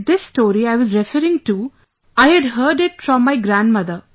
And this story I was referring to... I had heard it from my grandmother